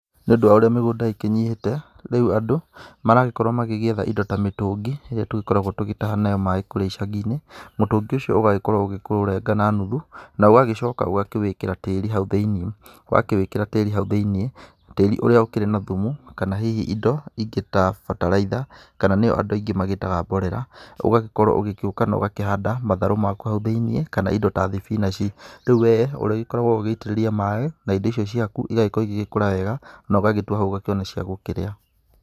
Nĩ ũndũ wa ũrĩa mĩgũnda ĩkĩnyihĩte, rĩu andũ maragĩkorwo magĩgĩetha indo ta mĩtũngi, ĩrĩa tũgĩkoragwo tũgĩtaha nayo maaĩ kũrĩa icagi-inĩ, mũtũngi ũcio ũgagĩkorwo ũgĩkĩũrenga na nuthu, na ũgagĩcoka ũgakĩwĩkĩra tĩri hau thĩiniĩ. Wakĩwĩkĩra tĩri hau thĩiniĩ, tĩri ũrĩa ũkĩrĩ na thumu kana hihi indo ingĩ ta bataraitha, kana nĩyo andũ aingĩ magíĩtaga mborera, ũgagĩkorwo ũgigĩũka na ũgakĩhanda matharũ maaku hau thĩiniĩ kana indo ta thibinaci, rĩu we ũrĩgĩkoragwo ũgĩitĩrĩria maaĩ na indo icio ciaku igagĩkorwo igĩgĩkũra wega, na ũgagĩtua hau ũgakĩona cia gũkĩrĩa.